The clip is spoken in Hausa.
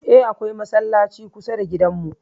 Eh, akwai masallaci kusa da gidan mu